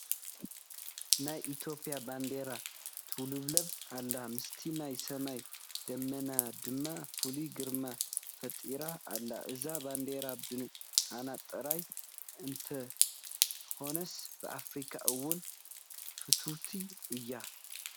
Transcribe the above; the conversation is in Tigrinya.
ናይ ኢትዮጵያ ባንዲራ ትውልብለብ ኣላ፡፡ ምስቲ ናይ ሰማይ ደመና ድማ ፍሉይ ግርማ ፈጢራ ኣላ፡፡ እዛ ባንዴራ ብኣና ጥራይ እንተይኮነስ ብኣፍሪካ እውን ፍትውቲ እያ፡፡